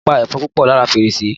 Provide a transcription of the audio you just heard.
Olá pa ẹ̀fọn púpọ̀ lára fèrèsé